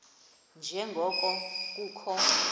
nje ngoko kukho